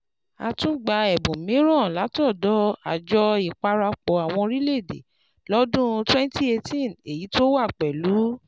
A tún gba ẹ̀bùn mìíràn látọ̀dọ̀ àjọ Ìparapọ̀ Àwọn Orílẹ̀-Èdè lọ́dún twenty eighteen, èyí tó wá pẹ̀lú